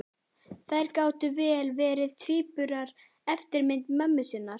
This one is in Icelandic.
Þær gátu vel verið tvíburar, eftirmyndir mömmu sinnar.